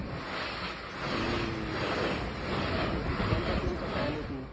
कोणत्या team चा fan आहे तू?